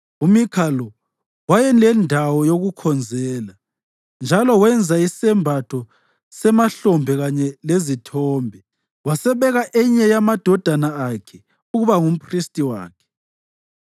UMikha lo wayelendawo yokukhonzela, njalo wenza isembatho semahlombe kanye lezithombe, wasebeka enye yamadodana akhe ukuba ngumphristi wakhe.